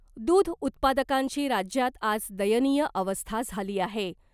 दुध उत्पादकांची राज्यात आज दयनीय अवस्था झाली आहे .